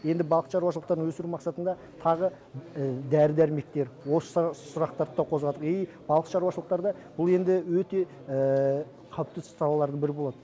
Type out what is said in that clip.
енді балық шаруашылықтарын өсіру мақсатында тағы дәрі дәрмектер осы сұрақтарды да қозғадым и балық шаруашылықтарда бұл енді өте қалыпты іс салалардың бірі болады